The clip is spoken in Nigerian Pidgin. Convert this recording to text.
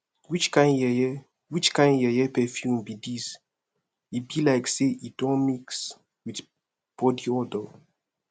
which kin yeye which kin yeye perfume be dis e be like say e don mix with body odor